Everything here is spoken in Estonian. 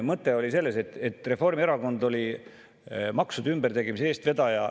Mõte oli selles, et Reformierakond oli maksude ümbertegemise eestvedaja.